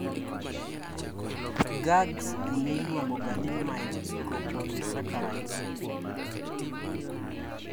GAGs niluongoga ni mucopolysaccharides